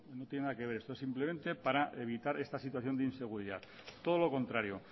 no tiene nada que ver esto es simplemente para evitar esta situación de inseguridad todo lo contrario